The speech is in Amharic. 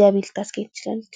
ገቢ ልታስገኝ ትችላለች።